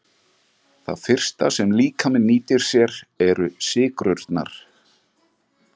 Það fyrsta sem líkaminn nýtir sér eru sykrurnar.